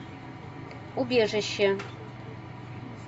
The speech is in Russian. убежище